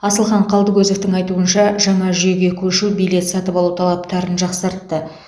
асылхан қалдыкозовтың айтуынша жаңа жүйеге көшу билет сатып алу талаптарын жақсартты